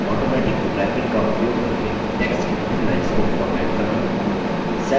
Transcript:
automatic wrapping का उपयोग करके text की विभिन्न lines को फॉर्मेट करना